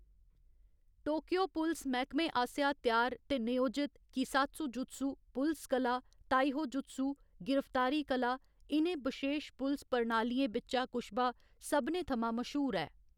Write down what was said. Tokyo पुलस मैह्‌‌‌कमे आसेआ त्यार ते नयोजत कीसात्सुजुत्सु, पुलस कला, ताइहो जुत्सु, गिरफ्तारी कला, इ'नें बशेश पुलस प्रणालियें बिच्चा कुश्बा सभनें थमां मश्हूर ऐ।